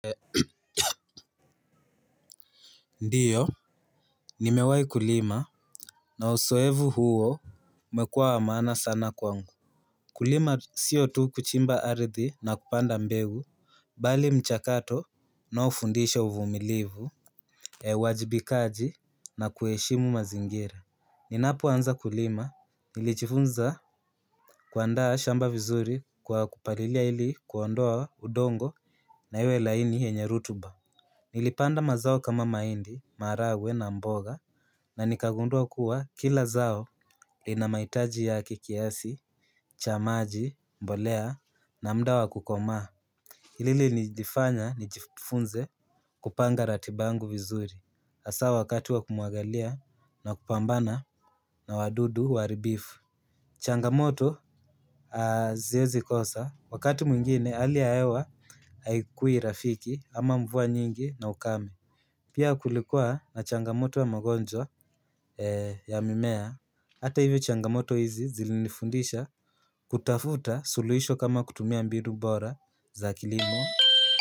Ndio ni mewahi kulima na uzoefu huo umekuwa wa maana sana kwangu. Kulima sio tu kuchimba ardhi na kupanda mbegu bali mchakato unaofundisha uvumilivu uwajibikaji na kuheshimu mazingira. Ninapoanza kulima nilijifunza kuandaa shamba vizuri kwa kupalilia ili kuondoa udongo na iwe laini yenye rutuba. Nilipanda mazao kama mahindi, maharagwe na mboga, na nikagundua kuwa kila zao lina mahitaji ya kiasi cha maji, mbolea, na muda wa kukomaa. Hili lilinifanya nijifunze kupanga ratiba yangu vizuri, hasa wakati wa kumwagilia na kupambana na wadudu waharibifu. Changamoto haziwezi kosa, wakati mwingine hali ya hewa haikui rafiki ama mvua nyingi na ukame. Pia kulikuwa na changamoto wa magonjwa ya mimea. Hata hivyo changamoto hizi zilinifundisha kutafuta suluhisho kama kutumia mbinu mbora za kilimo.